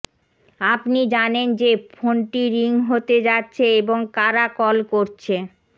আপনি জানেন যে ফোনটি রিং হতে যাচ্ছে এবং কারা কল করছে